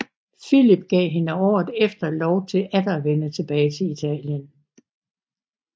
Filip gav hende året efter lov til atter at vende tilbage til Italien